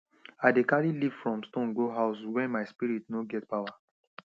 i dey carry leaf from stone go house when my spirit no get pawa